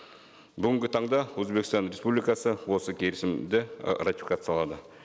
бүгінгі таңда өзбекстан республикасы осы келісімді і ратификациялады